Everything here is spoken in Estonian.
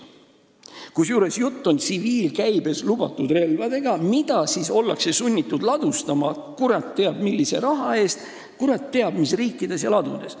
Kusjuures jutt on tsiviilkäibesse lubatud relvadest, mida ollakse sunnitud ladustama kurat teab millise raha eest, kurat teab mis riikides ja ladudes.